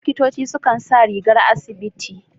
Likitoci su kan sa rigar asibiti.